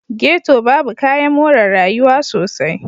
Ghetto babu kayan more rayuwa sosai.